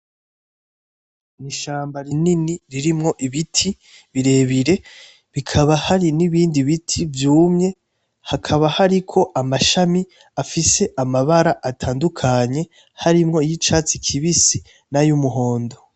Ni ishamba rinini ririmwo ibiti birebire bikaba hari nibindi biti vyumye hakaba hariko amashami afise amabara atandukanye harimwo y'icatsi kibisi nay'umuhondo.